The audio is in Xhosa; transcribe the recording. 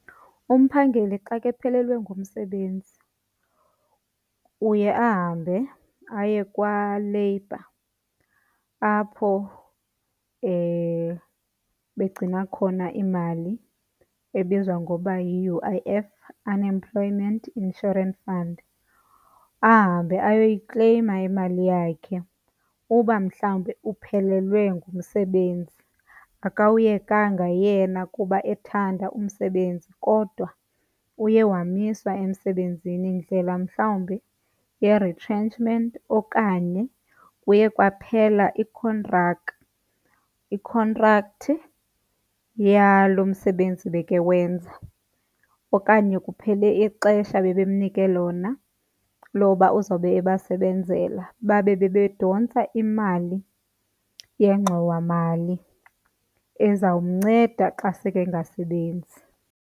Umphangeleli xa kephelelwe ngumsebenzi uye ahambe aye kwaLabour apho begcina khona imali ebizwa ngoba yi-U_I_F, Unemployment Insurance Fund. Ahambe ayoyikleyima imali yakhe uba mhlawumbe uphelelwe ngumsebenzi, akawuyekanga yena kuba ethanda umsebenzi kodwa uye wamiswa emsebenzini ndlela mhlawumbi ye-retrenchment okanye kuye kwaphela ikhontraka., ikhontrakthi yalo msebenzi bekewenza. Okanye kuphele ixesha bebemnike lona loba uzawube abasebenzela babe bebedontsisa imali yengxowamali ezawumnceda xa sekengasebenzi.